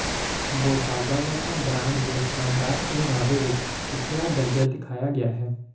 ਬੋਟਾਗਾਵਾਟਾ brand ਦੇ ਸ਼ਾਨਦਾਰ ਪਹਿਰਾਵੇ ਵਿੱਚ ਪਿਛਲਾ ਦਰਜਾ ਦਿਖਾਇਆ ਗਿਆ ਹੈ